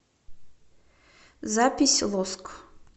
запись лоск